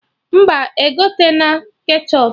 Mba, egotena ketchọp